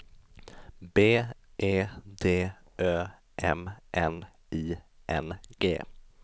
B E D Ö M N I N G